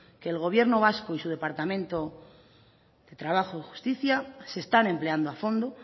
que el gobierno vasco y su departamento de trabajo y justicia se están empleando a fondo